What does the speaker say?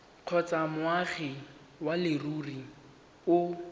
kgotsa moagi wa leruri o